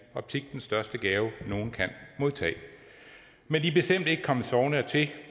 optik den største gave nogen kan modtage men de er bestemt ikke kommet sovende dertil